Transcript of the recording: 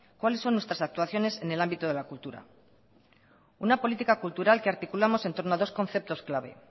cuáles son nuestras actuaciones en el ámbito de la cultura una política cultural que articulamos entorno a dos conceptos clave